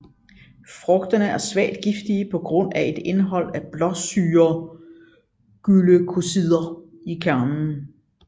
Frugterne er svagt giftige på grund af et indhold af blåsyreglykosider i kernen